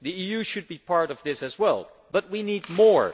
The EU should be part of this as well, but we need more.